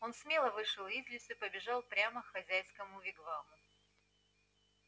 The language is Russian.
он смело вышел из лесу и побежал прямо к хозяйскому вигваму